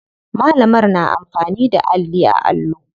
Malamar na amfani da alli a allo.